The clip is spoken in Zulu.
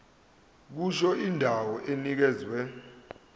kusho indawo enikezwe